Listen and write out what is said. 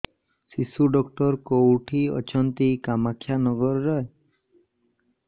ଶିଶୁ ଡକ୍ଟର କୋଉଠି ଅଛନ୍ତି କାମାକ୍ଷାନଗରରେ